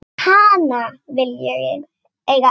Hana vil ég eiga ein.